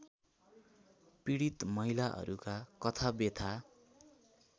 पीडित महिलाहरूका कथाव्यथा